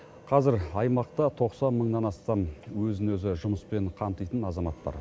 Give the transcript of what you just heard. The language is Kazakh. қазір аймақта тоқсан мыңнан астам өзін өзі жұмыспен қамтитын азамат бар